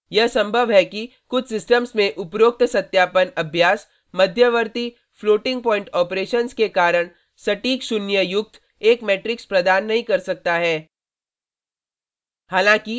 यह संभव है कि कुछ सिस्टम्स में उपरोक्त सत्यापन अभ्यास मध्यवर्ती फ्लोटिंग पॉइंट ऑपरेशंस के कारण सटीक शून्य युक्त एक मैट्रिक्स प्रदान नहीं कर सकता है